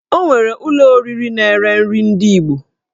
O nwere ụlọ oriri na-ere nri ndị Igbo